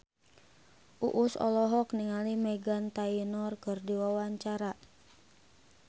Uus olohok ningali Meghan Trainor keur diwawancara